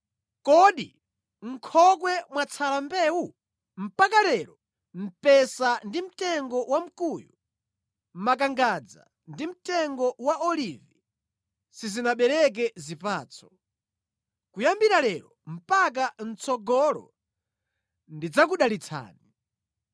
Kodi mʼnkhokwe mwatsala mbewu? Mpaka lero, mpesa ndi mtengo wa mkuyu, makangadza ndi mtengo wa olivi sizinabereke zipatso. “ ‘Kuyambira lero mpaka mʼtsogolo ndidzakudalitsani.’ ”